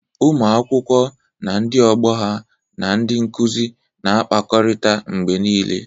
Ụmụ akwụkwọ na ndị ọgbọ ha na ndị nkuzi na-akpakọrịta mgbe niile.